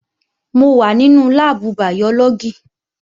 Mò wà nínú láàbù bàyọ́lọ́gì